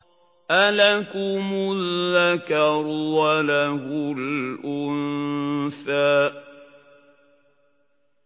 أَلَكُمُ الذَّكَرُ وَلَهُ الْأُنثَىٰ